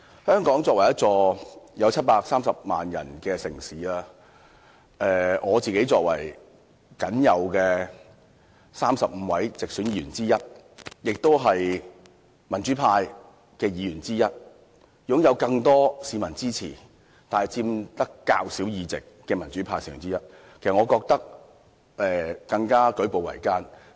香港這城市人口達730萬人，而我作為僅有的35位直選議員之一，而且是民主派的議員之一，雖然是得到更多市民支持，但由於是佔較少議席的民主派成員，的確感到舉步維艱。